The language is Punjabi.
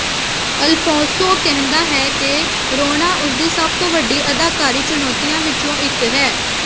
ਅਲਫੋਂਸੋ ਕਹਿੰਦਾ ਹੈ ਕਿ ਰੋਣਾ ਉਸਦੀ ਸਭ ਤੋਂ ਵੱਡੀ ਅਦਾਕਾਰੀ ਚੁਣੌਤੀਆਂ ਵਿੱਚੋਂ ਇਕ ਹੈ